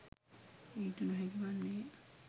ඊට නොහැකි වන්නේය